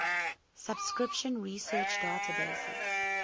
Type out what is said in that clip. subscription research databases